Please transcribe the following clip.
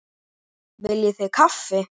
Viljið þið kaffi?